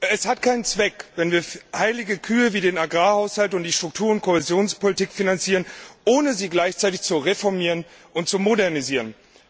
Es hat keinen Zweck, wenn wir heilige Kühe wie den Agrarhaushalt und die Struktur und Kohäsionspolitik finanzieren, ohne sie gleichzeitig zu reformieren und zu modernisieren.